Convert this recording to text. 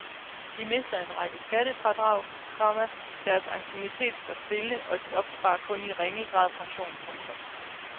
De mister en række skattefradrag, komma deres anciennitet står stille og de opsparer kun i ringe grad pension. punktum